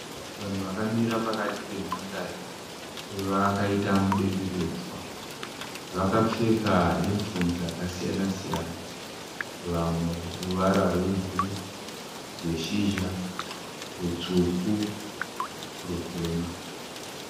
Vanhu vakamira pakati penhandare vakaita mudenderedzwa. Vakapfeka yunifomu dzakasiyana siyana. Vamwe ruvara rwebhuru, rweshizha, rutsvuku, rutema.